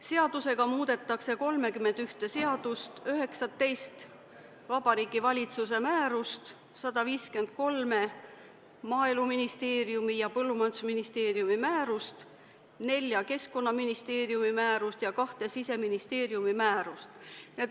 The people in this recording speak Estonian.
Seadusega muudetaks 31 seadust, 19 Vabariigi Valitsuse määrust, 153 Maaeluministeeriumi ja Põllumajandusministeeriumi määrust, nelja Keskkonnaministeeriumi määrust ja kahte Siseministeeriumi määrust.